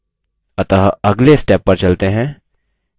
अतः अगले step पर चलते हैं